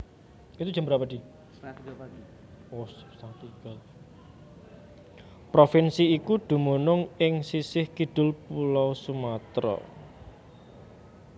Provinsi iku dumunung ing sisih kidul Pulo Sumatra